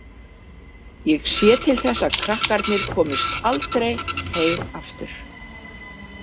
Ég sé til þess að krakkarnir komist aldrei heim aftur